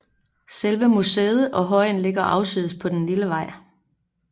Selve museet og højen ligger afsides på en lille vej